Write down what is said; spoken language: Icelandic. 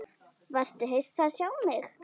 Varstu hissa að sjá mig?